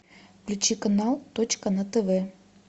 включи канал точка на тв